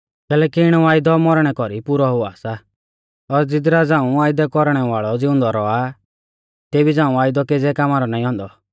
कैलैकि इणौ वायदौ मौरणै कौरी पाकौ हुआ सा और ज़िदरा झ़ांऊ वायदै कौरणै वाल़ौ ज़िउंदौ रौआ आ तेबी झ़ाऊं वायदौ केज़ै कामा रौ नाईं औन्दौ